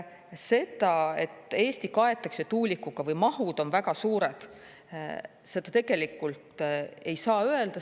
Seda, et Eesti kaetakse tuulikutega või mahud on väga suured, tegelikult ei saa öelda.